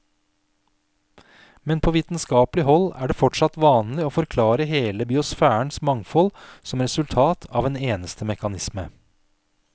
Men på vitenskapelig hold er det fortsatt vanlig å forklare hele biosfærens mangfold som resultat av en eneste mekanisme.